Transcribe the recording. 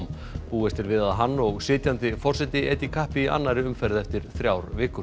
búist er við að hann og sitjandi forseti etji kappi í annarri umferð eftir þrjár vikur